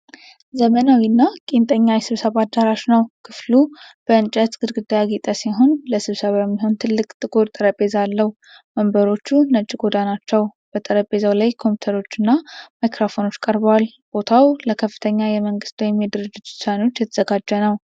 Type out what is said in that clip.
ዘመናዊና ቄንጠኛ የስብሰባ አዳራሽ ነው። ክፍሉ በእንጨት ግድግዳ ያጌጠ ሲሆን፣ ለስብሰባ የሚሆን ትልቅ ጥቁር ጠረጴዛ አለው። ወንበሮቹ ነጭ ቆዳ ናቸው። በጠረጴዛው ላይ ኮምፒውተሮችና ማይክሮፎኖች ቀርበዋል። ቦታው ለከፍተኛ የመንግሥት ወይም የድርጅት ውሳኔዎች የተዘጋጀ ነው።